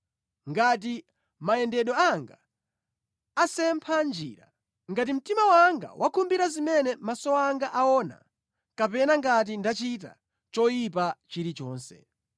ngati mayendedwe anga asempha njira, ngati mtima wanga wakhumbira zimene maso anga aona, kapena ngati ndachita choyipa chilichonse.